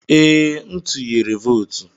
Ee, m tuyere votu.